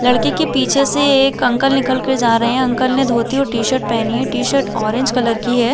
लड़की के पीछे से एक अंकल निकल के जा रहै है अंकल ने धोती और टी शर्ट पहनी है टी शर्ट ऑरेंज कलर की है।